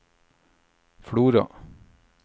Flora